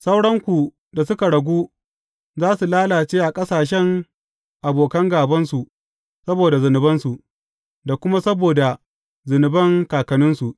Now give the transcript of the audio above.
Sauranku da suka ragu za su lalace a ƙasashen abokan gābansu saboda zunubansu; da kuma saboda zunuban kakanninsu.